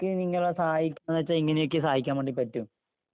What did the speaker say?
നമ്മക്ക് നിങ്ങളെ സഹായിക്കാനെന്നു വച്ചാ ഇങ്ങനെയൊക്കേ സഹായിക്കാൻ വേണ്ടി പറ്റൂ..